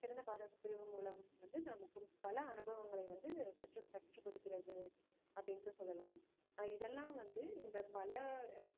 சிறந்த பாடப்பிரிவு மூலம் வந்து நமக்குப் பல அனுபவங்களை வந்து கற்று~ கற்றுக் கொடுக்கிறது அப்படின்னுட்டுச் சொல்லலாம் ஆஹ் இதெல்லாம் வந்து இந்த பல